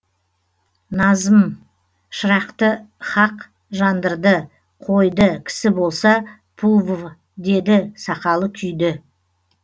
назм шырақты хақ жандырды қойды кісі болса пув деді сақалы күйді